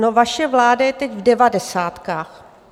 No vaše vláda je teď v devadesátkách!